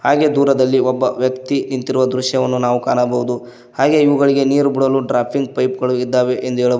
ಹಾಗೆ ದೂರದಲ್ಲಿ ಒಬ್ಬ ವ್ಯಕ್ತಿ ನಿಂತಿರುವ ದೃಶ್ಯವನ್ನು ನಾವು ಕಾಣಬಹುದು ಹಾಗೆ ಇವುಗಳಿಗೆ ನೀರು ಬಿಡಲು ಡ್ರಾಪಿಂಗ್ ಪೈಪ್ ಗಳು ಇದ್ದಾವೆ ಎಂದು ಹೇಳಬಹು --